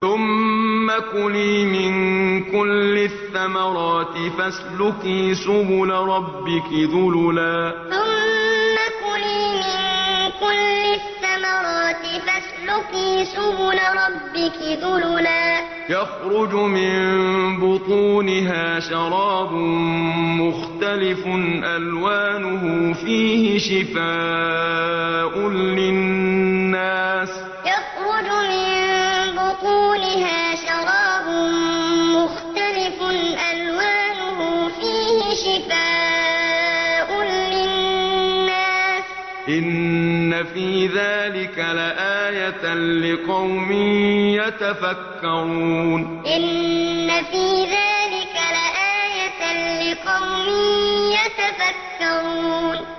ثُمَّ كُلِي مِن كُلِّ الثَّمَرَاتِ فَاسْلُكِي سُبُلَ رَبِّكِ ذُلُلًا ۚ يَخْرُجُ مِن بُطُونِهَا شَرَابٌ مُّخْتَلِفٌ أَلْوَانُهُ فِيهِ شِفَاءٌ لِّلنَّاسِ ۗ إِنَّ فِي ذَٰلِكَ لَآيَةً لِّقَوْمٍ يَتَفَكَّرُونَ ثُمَّ كُلِي مِن كُلِّ الثَّمَرَاتِ فَاسْلُكِي سُبُلَ رَبِّكِ ذُلُلًا ۚ يَخْرُجُ مِن بُطُونِهَا شَرَابٌ مُّخْتَلِفٌ أَلْوَانُهُ فِيهِ شِفَاءٌ لِّلنَّاسِ ۗ إِنَّ فِي ذَٰلِكَ لَآيَةً لِّقَوْمٍ يَتَفَكَّرُونَ